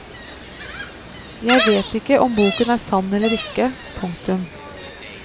Jeg vet ikke om boken er sann eller ikke. punktum